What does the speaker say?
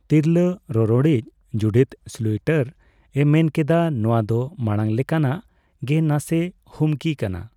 ᱛᱤᱨᱞᱟᱹ ᱨᱚᱨᱚᱲᱤᱡ ᱡᱩᱰᱤᱛᱷ ᱥᱞᱩᱭᱴᱟᱨ ᱮ ᱢᱮᱱ ᱠᱮᱫᱟ ᱱᱚᱣᱟ ᱫᱚ ᱢᱟᱲᱟᱝ ᱞᱮᱠᱟᱱᱟᱜᱼᱜᱮ, ᱱᱟᱥᱮᱹ ᱦᱩᱢᱠᱤ ᱠᱟᱱᱟ ᱾